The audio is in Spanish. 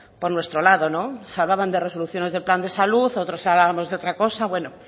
por nuestro lado se hablaban de resoluciones de plan de salud otros hablábamos de otra cosa bueno